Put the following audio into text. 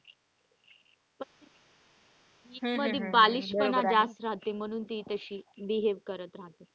गीत मध्ये बालिशपणा जास्त रहाते म्हणून ती तशी behave करत रहाते.